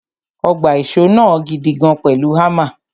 Ó gbá ìṣó náà gidigan pẹ̀lú hámà.